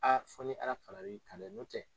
fɔ ni Ala fara la i kan dɛ n'o tɛ.